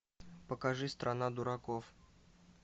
покажи страна дураков